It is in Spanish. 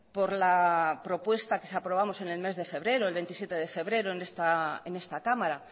por la propuesta que aprobamos en el mes de febrero el veintisiete de febrero en esta cámara